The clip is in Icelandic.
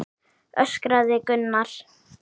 öskraði Gunnar.